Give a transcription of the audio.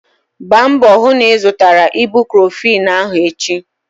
Gbaa mbọ hụ na ị zụtara ibucrofen ahụ echi!